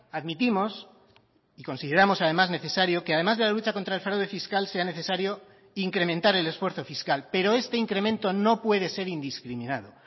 admitimos y consideramos además necesario que además de la lucha contra el fraude fiscal sea necesario incrementar el esfuerzo fiscal pero este incremento no puede ser indiscriminado